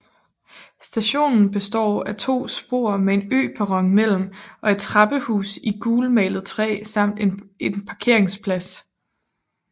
Stationen består af to spor med en øperron imellem og et trappehus i gulmalet træ samt en parkeringsplads